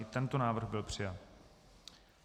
I tento návrh byl přijat.